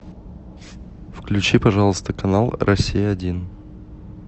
включи пожалуйста канал россия один